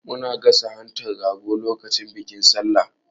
Muna gasa hantan rago lokacin bikin Sallah.